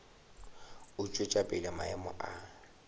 go tšwetša pele maemo a